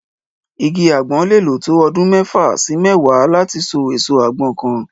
Igi àgbọn lè lò tó ọdún mẹ́fà sí mẹ́wàá láti so èso àgbọn kan.